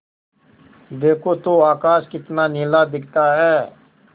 देखो तो आकाश कितना नीला दिखता है